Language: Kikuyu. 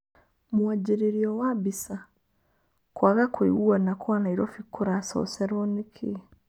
Mwanjĩrĩrio wa Mbica. Kwaga kũiguana Kwa Nairobi kũracocerwo nĩkĩĩ?